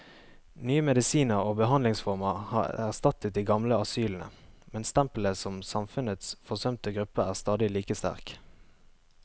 Nye medisiner og behandlingsformer har erstattet de gamle asylene, men stempelet som samfunnets forsømte gruppe er stadig like sterkt.